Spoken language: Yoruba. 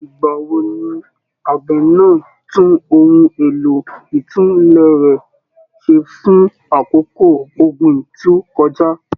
Ìgbà wo ni àgbẹ̀ náà tún ohun èlò ìtùlẹ̀ rẹ̀ ṣe fún àkókò ọ̀gbìn tó kọjá?